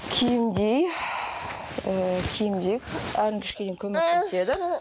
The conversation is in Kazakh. киімдей ііі киімдей әлі көмектеседі